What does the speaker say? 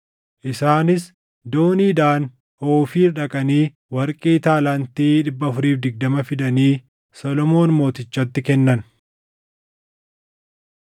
Isaanis dooniidhaan Oofiir dhaqanii warqee taalaantii 420 fidanii Solomoon mootichatti kennan.